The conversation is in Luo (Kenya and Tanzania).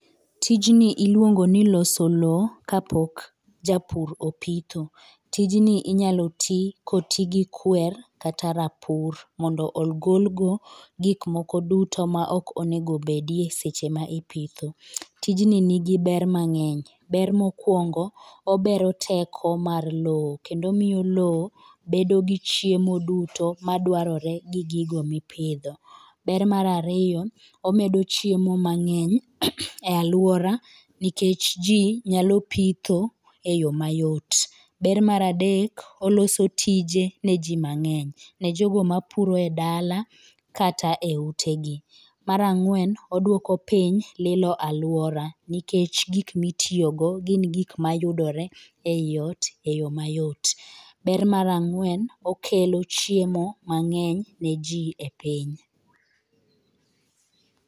Tinji iluongo ni loso lowo kapok japur opitho. Tijni inyalo tii kotigi gi kwer kata rapur mondo ogol go gik moko duto ma ok onego bedo eseche ma ipitho. Tijni nigi ber mang'eny mokwongo obero teko mar lowo kendo omiyo lowo bedo gi chiemo duto madwarore gi gigo mipidho. Ber mar ariyo omedo chiemo mang'eny e aluora nikech jii nyalp pitho eyoo mayot .Ber mar adke oloso tije ne jii mangeny ne jogo mapuro e dala kata e ute gi. Mar angwen odwoko piny lilo aluora nikech gik mitiyo go yudore e ot e yoo mayot. Ber mar angwen okelo chiemo mangeny ne jii e piny.